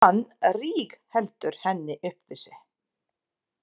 Hann rígheldur henni upp við sig.